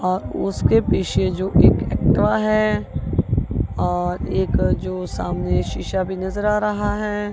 और उसके पीछे जो एक एक्टिवा है और एक जो सामने शिशा भी नजर आ रहा है।